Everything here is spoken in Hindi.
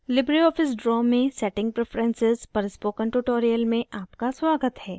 लिबरे ऑफिस draw में setting preferences पर spoken tutorial में आपका स्वागत है